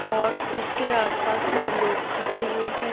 और उसके आसपास कई लोग खड़े हुए हैं।